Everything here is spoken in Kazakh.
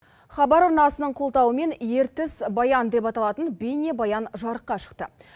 хабар арнасының қолдауымен ертіс баян деп аталатын бейнебаян жарыққа шықты